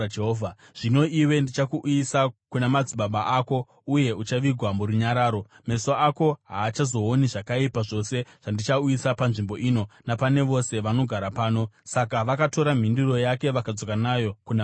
Zvino iwe ndichakuuyisa kuna madzibaba ako, uye uchavigwa murunyararo. Meso ako haachazooni zvakaipa zvose zvandichauyisa panzvimbo ino napane vose vanogara pano.’ ” Saka vakatora mhinduro yake vakadzoka nayo kuna mambo.